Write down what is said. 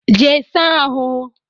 Jee saa ahụ!